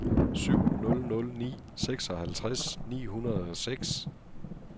syv nul nul ni seksoghalvtreds ni hundrede og seks